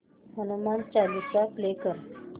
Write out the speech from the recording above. Hanuman Chalisa play कर